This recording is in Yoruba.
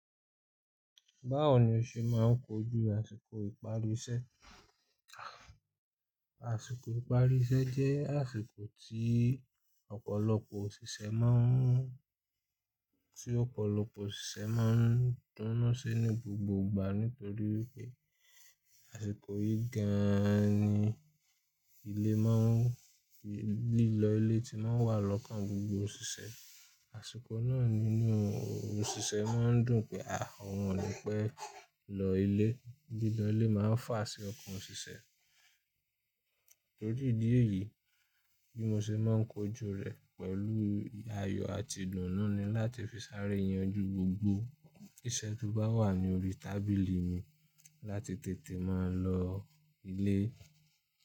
Báwo ni o ṣe máà ń kojú àsìkò ìparí isẹ́? Àsìkò ìparí isẹ́ jẹ́ àsìkò tí ọ̀pọ̀lọpọ̀ òsìsẹ́ máa ń, tí ọ̀pọ̀lọpọ̀ òsìsẹ́ máa ń dúnú sí ní gbogbo ìgbà nítorí pé àsìkò yìí gan an ni ilé máa ń, lílọ ilé tí máa ń wà lọ́kàn gbogbo òsìsẹ́. Àsìkò náà nínú òsìsẹ́ máa ń dùn pé àh! Oun ni pẹ́ lọ ilé. Lílọ ilé máà ń fà á sí ọkàn òsìsẹ́. Nítorí ìdí èyí, bí mo se máa ń kojú rẹ̀ pẹ̀lú ayọ̀ àti ìdùnnú ni láti fi sáré yanjú gbogbo iṣẹ́ tó bá wà ní orí tábìlì mi láti tètè máa lọ ilé.